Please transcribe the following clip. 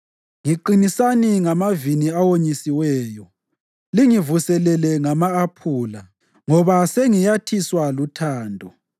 Ngiqinisani ngamavini awonyisiweyo, lingivuselele ngama-aphula, ngoba sengiyathiswa luthando.